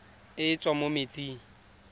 e e tswang mo metsing